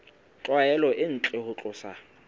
tlwaelo e ntle ho tlosa